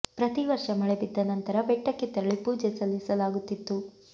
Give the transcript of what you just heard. ಪ್ರತಿ ವರ್ಷ ಮಳೆ ಬಿದ್ದ ನಂತರ ಬೆಟ್ಟಕ್ಕೆ ತೆರಳಿ ಪೂಜೆ ಸಲ್ಲಿಸಲಾಗುತ್ತಿತ್ತು